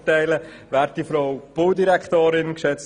Kommissionssprecher